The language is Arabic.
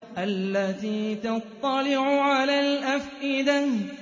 الَّتِي تَطَّلِعُ عَلَى الْأَفْئِدَةِ